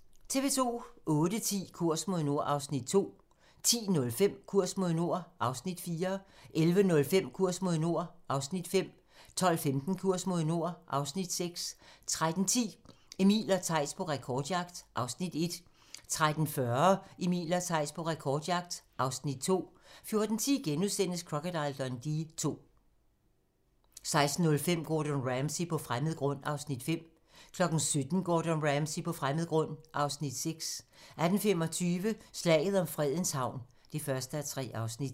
08:10: Kurs mod nord (Afs. 2) 10:05: Kurs mod nord (Afs. 4) 11:05: Kurs mod nord (Afs. 5) 12:15: Kurs mod nord (Afs. 6) 13:10: Emil og Theis på rekordjagt (Afs. 1) 13:40: Emil og Theis på rekordjagt (Afs. 2) 14:10: Crocodile Dundee II * 16:05: Gordon Ramsay på fremmed grund (Afs. 5) 17:00: Gordon Ramsay på fremmed grund (Afs. 6) 18:25: Slaget om Fredens Havn (1:3)